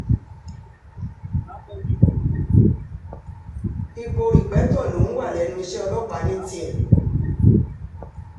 ipò rípẹ́tọ́ lòún wà lẹ́nu iṣẹ́ ọlọ́pàá ní tiẹ̀